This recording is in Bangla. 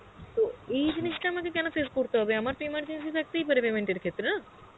তো এই জিনিসটা আমাকে কেন face করতে হবে আমার তো emergency থাকতেই পারে payment এর ক্ষেত্রে না?